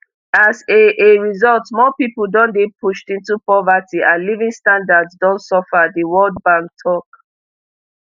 as a a result more pipo don dey pushed into poverty and living standards don suffer diworld bank tok